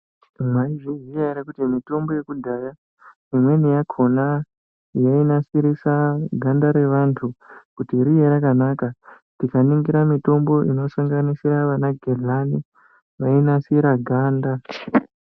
Mwaizviziya ere kuti mitombo yekudhaya imweni yakhona yainasirisa ganda revantu kuti rive rakanaka. Tikaningira mitombo inosanganisira vana gehlani yainasira ganda.